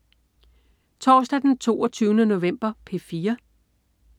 Torsdag den 22. november - P4: